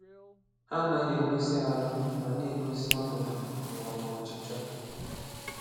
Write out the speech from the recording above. Há anaghị egosí arụ́ ma na-egosí ọ̀nọdụ́ ma ọ́ bụ́ ọchịchọ.